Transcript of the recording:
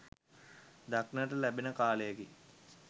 දක්නට ලැබෙන කාලයකි.